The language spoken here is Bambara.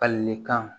Falilikan